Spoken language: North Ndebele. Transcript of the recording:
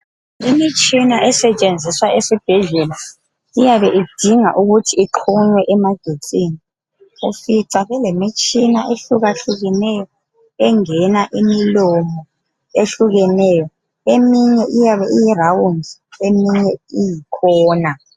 Imitshina esetshenziswa esibhedlela iyabe idinga ukuthi ixhunywe emagetsini. Ufica kulemitshina ehlukahlukeneyo engena imilomo ehlukeneyo. Eminye iyabe iyiround eminye iyikhona.